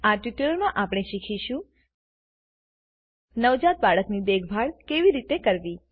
આ ટ્યુટોરીયલમાં આપણે શીખીશું નવજાત બાળકની દેખભાળ કેવી રીતે કરવી